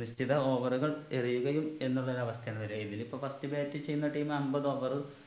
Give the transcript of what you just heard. നിശ്ചിത over കൾ എറിയുകയും എന്നുള്ളൊരു അവസ്ഥയാണ് വരുവാ ഇതിലിപ്പോ first bat ചെയ്യുന്ന team അമ്പത് over